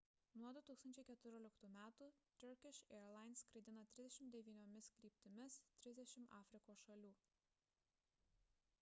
nuo 2014 m turkish airlines skraidina 39 kryptimis 30 afrikos šalių